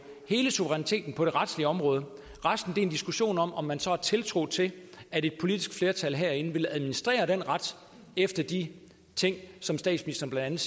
hele suveræniteten på det retlige område resten er en diskussion om om man så har tiltro til at et politisk flertal herinde vil administrere den ret efter de ting som statsministeren blandt